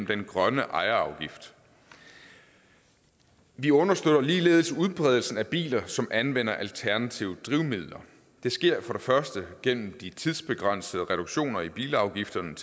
den grønne ejerafgift vi understøtter ligeledes udbredelsen af biler som anvender alternative drivmidler det sker for det første igennem de tidsbegrænsede reduktioner i bilafgifterne